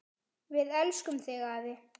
Við elskum þig, afi.